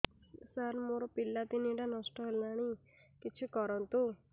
ସାର ମୋର ପିଲା ତିନିଟା ନଷ୍ଟ ହେଲାଣି କିଛି କରନ୍ତୁ